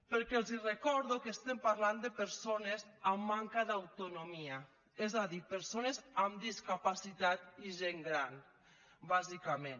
perquè els recordo que estem parlant de persones amb manca d’autonomia és a dir persones amb discapacitat i gent gran bàsicament